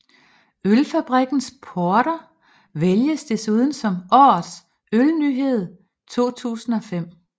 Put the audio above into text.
Ølfabrikkens Porter vælges desuden som Årets Ølnyhed 2005